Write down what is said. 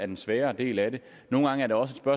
den sværere del af det nogle gange er det også